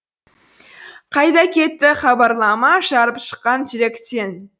қайда кетті хабарлама жарып шыққан жүректен